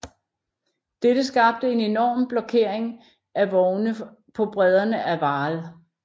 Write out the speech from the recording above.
Dette skabte en enorm blokkering af vogne på bredderne af Vaal